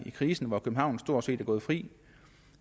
krisen hvor københavn stort set er gået fri